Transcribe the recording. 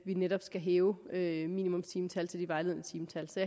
vi netop skal hæve minimumstimetallet til det vejledende timetal så